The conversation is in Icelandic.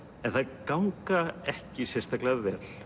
en þær ganga ekki sérstaklega vel